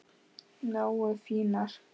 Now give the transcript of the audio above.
Nógu fínar?